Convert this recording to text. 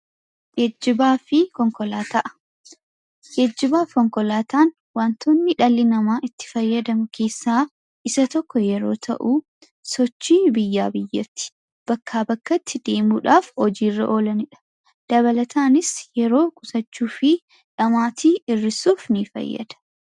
Geejjibaafi konkolaataa, Geejibaafi Konkolaataan waantonni dhalli namaa itti fayyadamu keessaa isa tokko yeroo ta'u sochii biyyaa biyyatti bakkaa bakkatti deemuudhaaf hojiirra oolanidha. Dabalataanis yeroo qusachuu fi dhamaatii hir'isuuf nifayyada.